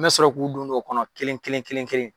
N mɛ sɔrɔ k'u don don o kɔnɔ kelen kelen kelen kelen.